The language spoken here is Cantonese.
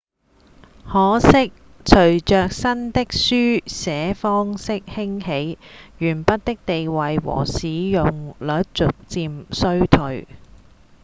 可惜隨著新的書寫方式興起鉛筆的地位和使用率逐漸衰退